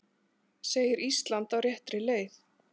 Segir Ísland á réttri leið